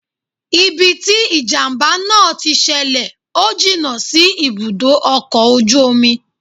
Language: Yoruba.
Ibi tí ìjàmbá náà tí ṣẹlẹ̀ ò jìnnà sí ibùdó ọkọ̀ ojú omi